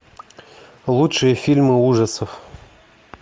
лучшие фильмы ужасов